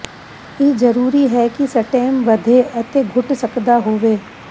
ਇਹ ਜ਼ਰੂਰੀ ਹੈ ਕਿ ਸਟੈਮ ਵਧੇ ਅਤੇ ਘੁਟ ਸਕਦਾ ਹੋਵੇ